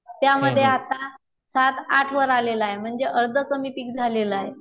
त्यावर आता सात, आठ वर आलेल आहे म्हणजे अर्ध पिक कमी झालेल आहे.